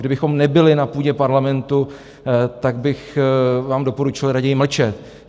Kdybychom nebyli na půdě Parlamentu, tak bych vám doporučil raději mlčet.